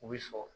U bɛ sɔrɔ